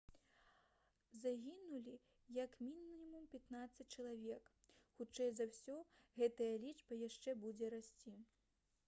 загінулі як мінімум 15 чалавек. хутчэй за ўсё гэтая лічба яшчэ будзе расці»